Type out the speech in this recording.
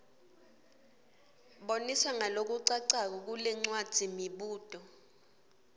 bonisa ngalokucacako kulencwadzimibuto